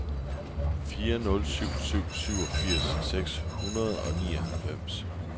fire nul syv syv syvogfirs seks hundrede og nioghalvfems